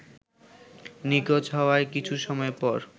নিখোঁজ হওয়ার কিছু সময় পর